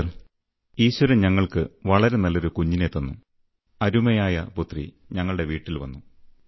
sir ഈശ്വരൻ ഞങ്ങൾക്ക് വളരെ നല്ലൊരു കുഞ്ഞിനെ തന്നു അരുമയായ പുത്രി ഞങ്ങളുടെ വീട്ടിൽ വന്നു